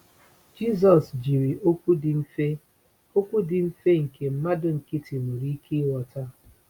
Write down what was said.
Jisọs jiri okwu dị mfe okwu dị mfe nke mmadụ nkịtị nwere ike ịghọta.